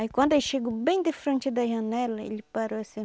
Aí quando eu chego bem de frente da janela, ele parou assim...